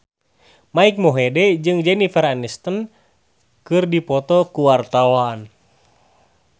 Mike Mohede jeung Jennifer Aniston keur dipoto ku wartawan